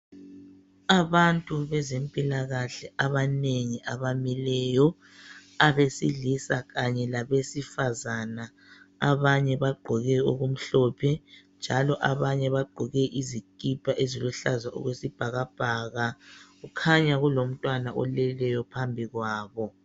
Abantu bezempilakahle abanengi abamileyo abesilisa kanye labesifazana. Abanye bagqoke okumhlophe njalo abanye bagqoke izikipa eziluhlaza okwesibhakabhaka kukhanya kulomntwana oleleyo phambi kwabo.